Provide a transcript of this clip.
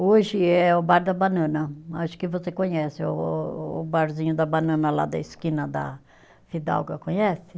Hoje é o bar da banana, acho que você conhece o o o o barzinho da banana lá da esquina da Fidalga, conhece?